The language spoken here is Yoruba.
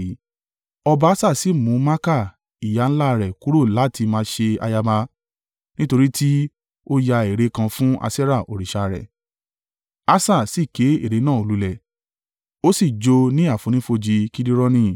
Ọba Asa sì mú Maaka ìyá ńlá rẹ̀ kúrò láti máa ṣe ayaba, nítorí tí ó yá ère kan fún Aṣerah òrìṣà rẹ̀. Asa sì ké ère náà lulẹ̀, ó sì jó o ní àfonífojì Kidironi.